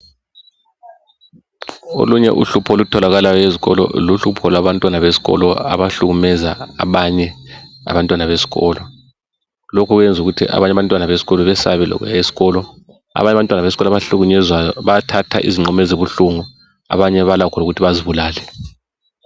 Olunye uhlupho olutholakalayo ezikolo luhlupho labantwana besikolo abahlukumeza abanye abantwana besikolo. Lokhu kuyenza ukuthi abanye abantwana besikolo besabe lokuya esikolo. Abanye abantwana besikolo abahlukumezwayo bayathatha izinqumo ezibuhlungu, abanye balakho lokuthi bazibulale.